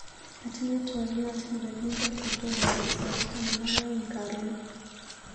Atinye twaliot nikakinde kotomo koit sait taman ak aeng karon.